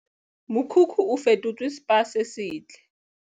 Mokhukhu o fetotswe Spa se setle.